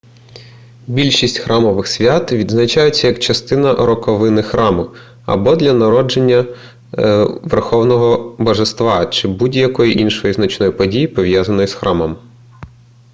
більшість храмових свят відзначаються як частина роковини храму або дня народження верховного божества чи будь-якої іншої значної події пов'язаної з храмом